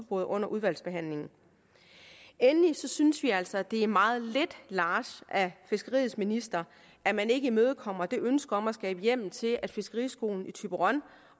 under udvalgsbehandlingen endelig synes vi altså at det er meget lidt large af fiskeriets minister at man ikke imødekommer det ønske om at skabe hjemmel til at fiskeriskolen i thyborøn